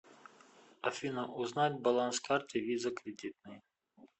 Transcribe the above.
афина узнать баланс карты виза кредитной